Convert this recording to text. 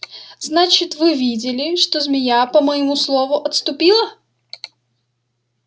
значит вы видели что змея по моему слову отступила